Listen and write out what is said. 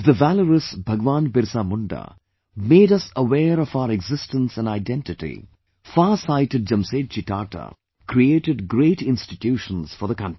If the valourousBhagwanBirsaMunda made us aware of our existence & identity, farsightedJamsetji Tata created great institutions for the country